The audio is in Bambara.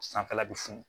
Sanfɛla bɛ funu